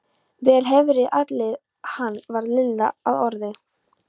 Vel hefurðu alið hann varð Lilla að orði.